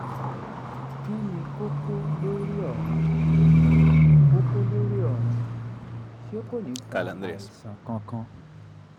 kí ni kókó lórí ọ̀run kókó lórí ọ̀run ṣé kò ní fa àìsàn kankan?